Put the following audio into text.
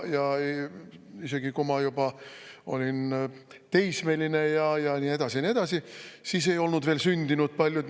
Ja isegi kui ma juba olin teismeline ja nii edasi, ja nii edasi, siis ei olnud veel sündinud paljud.